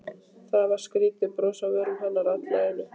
Það var skrýtið bros á vörum hennar allt í einu.